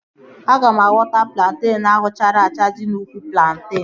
Aga m awọta plantenu ahụ chara acha dị n'úkwù plantenu